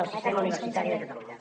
del sistema universitari de catalunya